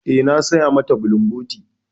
Eh, na saya mata bulumboti.